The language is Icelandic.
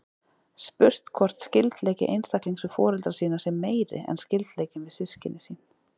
Spurt er hvort skyldleiki einstaklings við foreldra sína sé meiri en skyldleikinn við systkin sín.